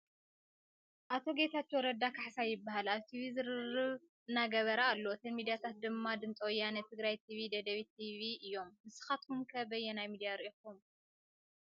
ኣቶ ጌታቸው ረዳ ካሕሳይ ይባሃል ። ኣብ ቲቪ ዝርርብ እናገበረ ኣሎ ። እተን ሚድያታት ድማ ድምፂ ወያነ ፣ ትግራይ ቲቪ ፣ ደደቢት ቲቪ እዮም ። ንስካትኩም ከ በይናይ ሚድያ ሪኢኩሞ ?